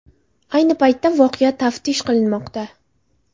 Ayni paytda voqea taftish qilinmoqda.